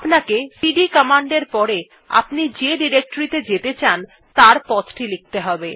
আপনাকে CD command এর পরে আপনি যে ডিরেক্টরী ত়ে যেতে চান তার পথ টি লিখতে হবে